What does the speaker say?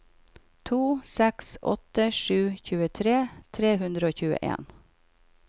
to seks åtte sju tjuetre tre hundre og tjueen